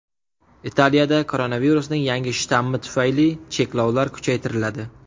Italiyada koronavirusning yangi shtammi tufayli cheklovlar kuchaytiriladi.